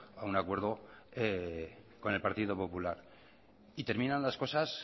a un acuerdo con el partido popular y terminan las cosas